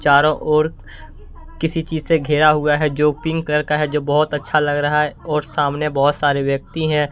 चारों ओर किसी चीज से घेरा हुआ है जो पिक का है जो बहुत अच्छा लग रहा है और सामने बहुत सारे व्यक्ति हैं।